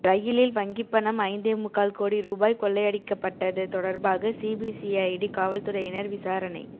ரயிலில் வங்கிப்பணம் ஐந்தே முக்கால் கோடி ரூபாய் கொள்ளையடிக்கப்பட்டது தொடர்பாக சிபிசிஐடி காவல்துறையினர் விசாரணை